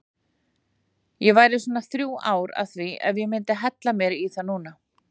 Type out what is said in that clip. Ég væri svona þrjú ár að því ef ég myndi hella mér í það núna.